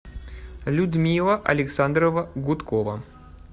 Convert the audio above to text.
людмила александровна гудкова